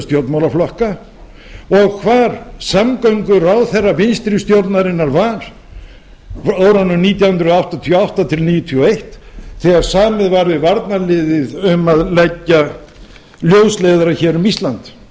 stjórnmálaflokka og hvar samgönguráðherra vinstri stjórnarinnar var á árunum nítján hundruð áttatíu og átta nítján hundruð níutíu og eitt þegar samið var við varnarliðið um að leggja ljósleiðara um ísland